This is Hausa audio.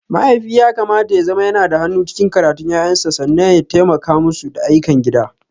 Mahaifi yakamata yazama yanada hannu cikin karatun ƴaƴansu sannan ya taimaka musu da ayyukan gida.